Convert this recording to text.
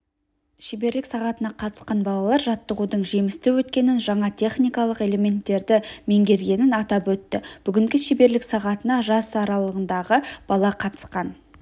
шеберлік сағатына қатысқан балалар жаттығудың жемісті өткенін жаңа техникалық элементтерді меңгергенін атап өтті бүгінгі шеберлік сағатына жас аралығындағы бала қатысқан